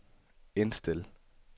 indstil